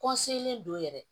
don yɛrɛ